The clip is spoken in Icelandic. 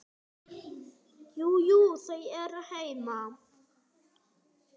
Jú, jú. þau eru heima.